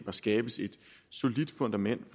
skabes et solidt fundament